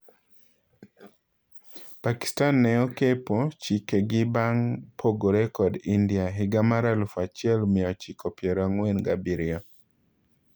Pakistan ne okepo chike gi bang' pogore kod India higa mar alufu achiel mia ochiko piero ang'uen gabirio.